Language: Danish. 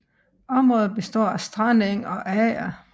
Området består af strandeng og ager